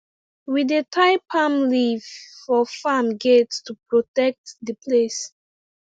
we dey tie palm leaf for farm gate to protect the place